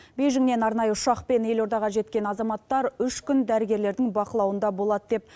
бейжіңнен арнайы ұшақпен елордаға жеткен азаматтар үш күн дәрігерлердің бақылауында болады деп